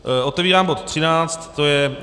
Otevírám bod 13, to je